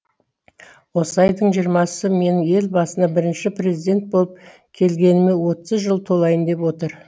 осы айдың жиырмасы менің ел басына бірінші президент болып келгеніме отыз жыл толайын деп отыр